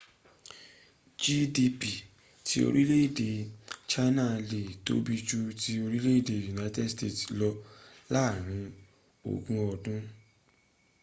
gdp ti orile ede china le tobi ju ti orile ede united states lo laarin ogun odun